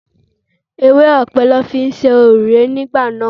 Ewé ọ̀pẹ ni wọ́n fi ń ṣe òrùlé nígbà náà.